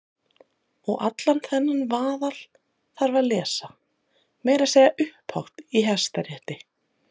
Og allan þennan vaðal þarf að lesa- meira að segja upphátt í Hæstarétti!